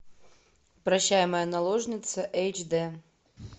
прощай моя наложница эйч дэ